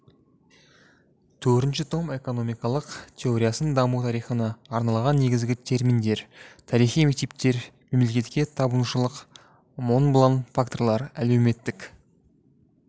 төртінші том экономикалық теорияның даму тарихына арналған негізгі терминдер тарихи мектептер мемлекетке табынушылық монблан факторлар әлеуметтік